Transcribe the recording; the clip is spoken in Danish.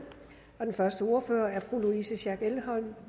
den første ordfører er fru louise schack elholm